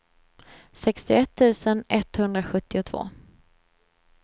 sextioett tusen etthundrasjuttiotvå